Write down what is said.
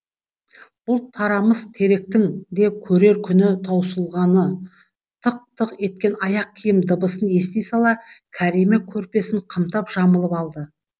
бұл тарамыс теректің де көрер күні таусылғаны тық тық еткен аяқ киім дыбысын ести сала кәрима көрпесін қымтап жамылып алды